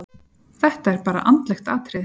Þetta er bara andlegt atriði.